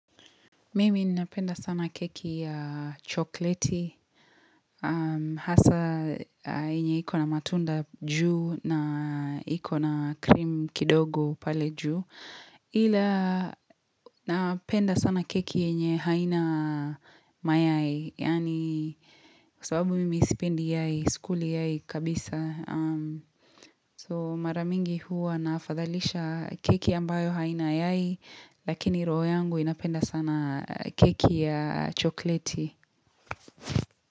Mimi ninapenda sana keki ya chokleti, hasa yenye iko na matunda juu na iko na krim kidogo pale juu. Ila napenda sana keki yenye haina mayai, yani sababu mimi sipendi yai, sikuli yai kabisa. So maramingi huwa nafadhalisha keki ambayo haina yai Lakini roho yangu inapenda sana keki ya chokleti.